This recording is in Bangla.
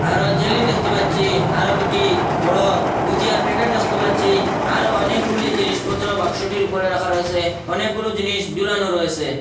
আরও জেলি দেখতে পাচ্ছি আরও দুটি বড় গুজিয়ার প্যাকেট দেখতে পাচ্ছি আরও অনেকগুলি জিনিসপত্র বাক্সটির ওপরে রাখা রয়েসে অনেকগুলো জিনিস জুলানো রয়েসে।